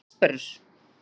Hvað eru harðsperrur?